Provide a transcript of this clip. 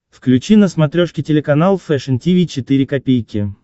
включи на смотрешке телеканал фэшн ти ви четыре ка